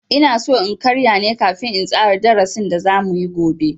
Inaso in karya ne kafin in tsara darasin da za muyi gobe.